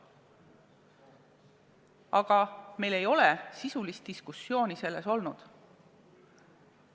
Aga meil ei ole sisulist diskussiooni sel teemal olnud.